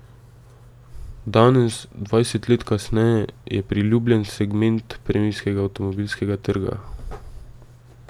Danes, dvajset let kasneje, je priljubljen segment premijskega avtomobilskega trga.